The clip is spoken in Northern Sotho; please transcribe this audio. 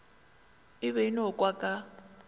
e be e nokwa ka